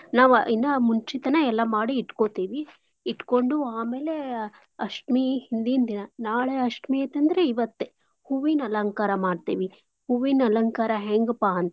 ನಾವ್ ಇನ್ನಾ ಮುಂಚಿತಾನೇ ಎಲ್ಲಾ ಇಟ್ಕೋತಿವಿ. ಇಟ್ಕೋಂಡು, ಆಮೇಲೆ ಅಷ್ಟಮಿ ಹಿಂದಿನ್ದಿನಾ ನಾಳೇ ಅಷ್ಟಮಿ ಐತೇಂದ್ರೆ ಇವತ್ತೇ ಹೂವಿನ್ ಅಲಂಕಾರ ಮಾಡ್ತೇವಿ ಹೂವಿನ್ ಅಲಂಕಾರ ಹೆಂಗ್ಪಾ ಅಂತಂದ್ರ.